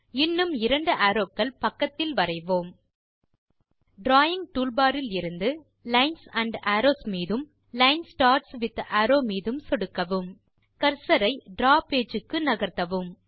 இன்னும் இரண்டு அரோவ்ஸ் பக்கத்தில் வரைவோம் டிராவிங் டூல்பார் இலிருந்து லைன்ஸ் ஆண்ட் அரோவ்ஸ் மீதும் லைன் ஸ்டார்ட்ஸ் வித் அரோவ் மீதும் சொடுக்கவும் கர்சர் ஐ டிராவ் பேஜ் க்கு நகர்த்தவும்